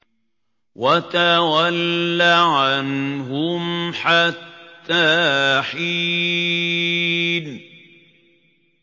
وَتَوَلَّ عَنْهُمْ حَتَّىٰ حِينٍ